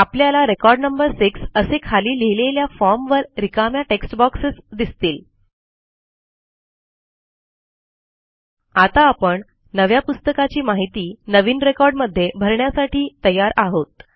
आपल्याला record number 6 असे खाली लिहिलेल्या फॉर्म वर रिकाम्या टेक्स्ट boxesदिसतील आता आपण नव्या पुस्तकाची माहिती नवीन रेकॉर्ड मध्ये भरण्यासाठी तयार आहोत